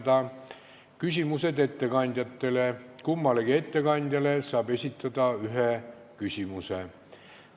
Edasi on küsimused ettekandjatele ja kummalegi ettekandjale saab esitada ühe küsimuse.